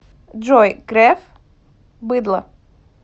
джой греф быдло